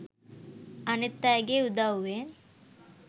අනිත් අයගේ උදව්වෙන්.